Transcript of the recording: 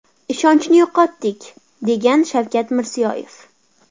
Ishonchni yo‘qotdik”, degan Shavkat Mirziyoyev.